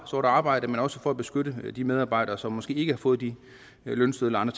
sort arbejde men også for at beskytte de medarbejdere som måske ikke har fået de lønsedler eller